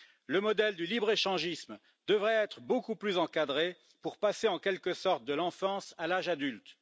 Le modèle du libre échangisme devrait être beaucoup plus encadré pour passer, en quelque sorte, de l'enfance à l'âge adulte.